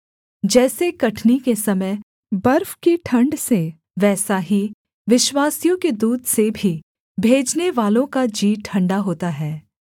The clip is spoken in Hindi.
जैसे कटनी के समय बर्फ की ठण्ड से वैसा ही विश्वासयोग्य दूत से भी भेजनेवालों का जी ठण्डा होता है